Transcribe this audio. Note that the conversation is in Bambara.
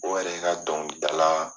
O yɛrɛ ka dɔnkilida la